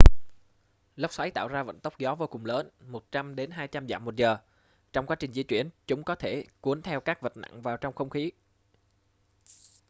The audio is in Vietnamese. lốc xoáy tạo ra vận tốc gió vô cùng lớn 100-200 dặm/giờ. trong quá trình di chuyển chúng có thể cuốn theo các vật nặng vào trong không khí